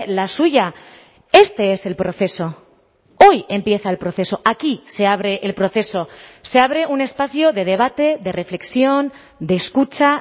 la suya este es el proceso hoy empieza el proceso aquí se abre el proceso se abre un espacio de debate de reflexión de escucha